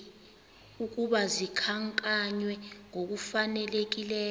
ukuba zikhankanywe ngokufanelekileyo